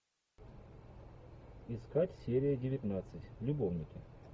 искать серия девятнадцать любовники